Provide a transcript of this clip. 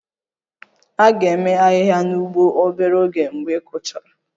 A ga-eme ahịhịa n'ugbo obere oge mgbe ị kụchara